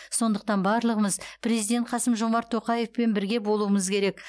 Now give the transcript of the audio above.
сондықтан барлығымыз президент қасым жомарт тоқаевпен бірге болуымыз керек